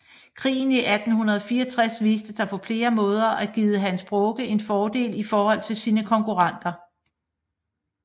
Krigen i 1864 viste sig på flere måder at give Hans Broge en fordel i forhold til sine konkurrenter